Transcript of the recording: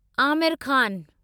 Aamir Khan